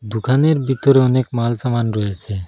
দোকানের ভিতর অনেক মাল সামান রয়েছে।